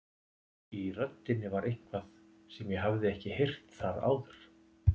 Í röddinni var eitthvað sem ég hafði ekki heyrt þar áður.